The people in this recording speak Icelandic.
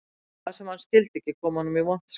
Og það sem hann skildi ekki kom honum í vont skap